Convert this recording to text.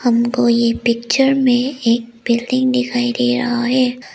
हमको ये पिक्चर में एक बिल्डिंग दिखाई दे रहा है।